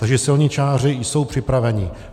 Takže silničáři jsou připraveni.